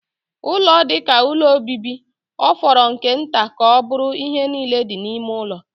Ụlọ dị ka ụlọ obibi, ọ fọrọ nke nta ka ọ bụrụ ihe niile dị n'ime ụlọ.